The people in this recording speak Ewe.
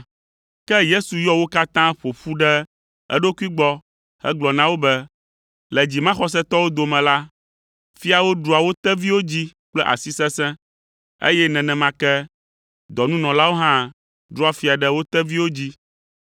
Ke Yesu yɔ wo katã ƒo ƒu ɖe eɖokui gbɔ hegblɔ na wo be, “Le dzimaxɔsetɔwo dome la, fiawo ɖua wo teviwo dzi kple asi sesẽ, eye nenema ke dɔnunɔlawo hã ɖua fia ɖe wo teviwo dzi.